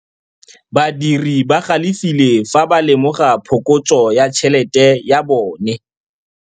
Badiri ba galefile fa ba lemoga phokotsô ya tšhelête ya bone.